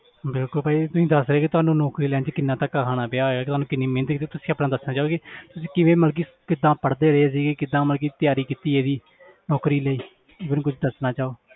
ਬਿਲਕੁਲ ਭਾਜੀ ਤੁਸੀਂ ਦੱਸ ਰਹੇ ਕਿ ਤੁਹਾਨੂੰ ਨੌਕਰੀ ਲੈਣ 'ਚ ਕਿੰਨਾ ਧੱਕਾ ਖਾਣਾ ਪਿਆ ਹੈ ਤੁਹਾਨੂੰ ਕਿੰਨੀ ਮਿਹਨਤ ਕੀਤੀ, ਤੁਸੀਂ ਆਪਣਾ ਦੱਸਣਾ ਚਾਹੋਗੇ ਤੁਸੀਂ ਕਿਵੇਂ ਮਤਲਬ ਕਿ ਕਿੱਦਾਂ ਪੜ੍ਹਦੇ ਰਹੇ ਸੀ ਕਿੱਦਾਂ ਮਤਲਬ ਕਿ ਤਿਆਰੀ ਕੀਤੀ ਇਹਦੀ ਨੌਕਰੀ ਲਈ ਜੇ ਕੁਛ ਦੱਸਣਾ ਚਾਹੋ।